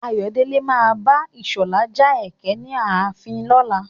Ayọ̀dèjì má abá Ìṣọ̀lá ja ẹkẹ ní ààfin lọ́la.